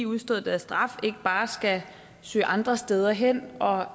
udstået deres straf ikke bare skal søge andre steder hen og